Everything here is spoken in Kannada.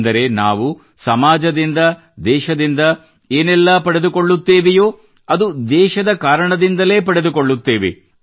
ಅಂದರೆ ನಾವು ಸಮಾಜದಿಂದ ದೇಶದಿಂದ ಏನೆಲ್ಲಾ ಪಡೆದುಕೊಳ್ಳುತ್ತೇವೋ ಅದು ದೇಶದ ಕಾರಣದಿಂದಲೇ ಪಡೆದುಕೊಳ್ಳುತ್ತೇವೆ